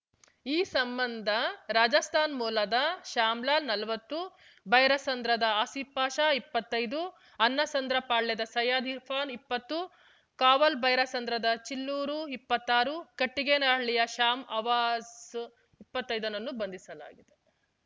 ಈ ಸಂಬಂಧ ರಾಜಸ್ತಾನ್ ಮೂಲದ ಶ್ಯಾಮ್‌ಲಾಲ್ ನಲ್ವತ್ತು ಬೈರಸಂದ್ರದ ಆಸೀಪ್ ಪಾಷಾ ಇಪ್ಪತ್ತೈದು ಅನ್ನಸಂದ್ರ ಪಾಳ್ಯದ ಸೈಯದ್ ಇರ್ಫಾನ್ ಇಪ್ಪತ್ತು ಕಾವಲ್‌ಬೈರಸಂದ್ರದ ಜಿಲ್ಲೂರು ಇಪ್ಪತ್ತಾರು ಕಟ್ಟಿಗೇನಹಳ್ಳಿಯ ಶ್ಯಾನ್ ಅವಾಸ್ ಇಪ್ಪತ್ತೈದುನನ್ನು ಬಂಧಿಸಲಾಗಿದೆ